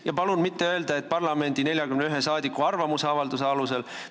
Ja palun mitte öelda, et parlamendi 41 saadiku arvamusavalduse alusel.